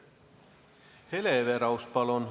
Hele Everaus, palun!